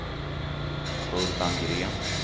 Urban Green